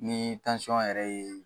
Ni yɛrɛ ye